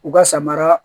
U ka samara